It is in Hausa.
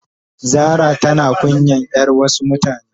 Zara tana kunyan yar Wasu mutane.